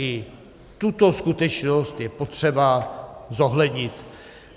I tuto skutečnost je potřeba zohlednit.